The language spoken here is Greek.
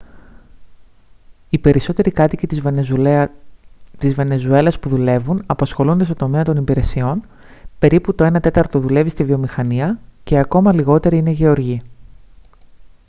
οι περισσότεροι κάτοικοι της βενεζουέλας που δουλεύουν απασχολούνται στον τομέα των υπηρεσιών περίπου το ένα τέταρτο δουλεύει στη βιομηχανία και ακόμα λιγότεροι είναι γεωργοί